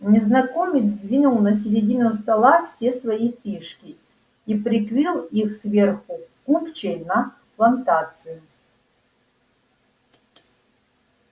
незнакомец двинул на середину стола все свои фишки и прикрыл их сверху купчей на плантацию